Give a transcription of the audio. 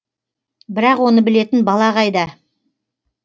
бірақ оны білетін бала қайда